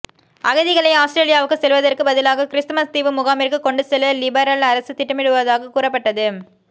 அகதிகளை ஆஸ்திரேலியாவுக்கு செல்வதற்க்கு பதிலாக கிறிஸ்துமஸ் தீவு முகாமிற்கு கொண்டு செல்ல லிபரல் அரசு திட்டுமிடுவதாக கூறப்பட்டது